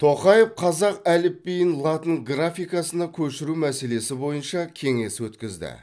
тоқаев қазақ әліпбиін латын графикасына көшіру мәселесі бойынша кеңес өткізді